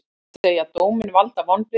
Segja dóminn valda vonbrigðum